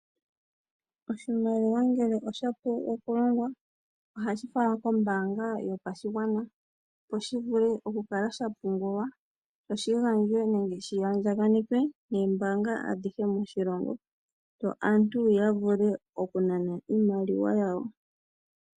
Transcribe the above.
Oshimaliwa ngele oshapu okulongwa ohashi falwa kombaanga yopashigwana opo shi vule okukala shapungulwa . Sho shi andjakanekwe noombaanga adhihe moshilongo . Yo aantu ya vule okunana iimaliwa yawo.